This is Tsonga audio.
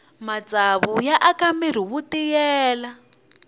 matsavu ya aka mirhi wu tiyelela